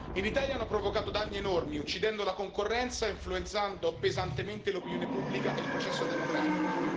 In Italia hanno provocato danni enormi, uccidendo la concorrenza, influenzando pesantemente l'opinione pubblica e il processo democratico.